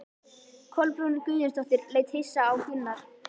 Kolbrún Guðjónsdóttir leit hissa á Gunnar.